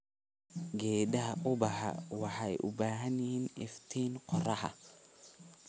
Geedaha ubaxa waxay u baahan yihiin iftiin qorrax.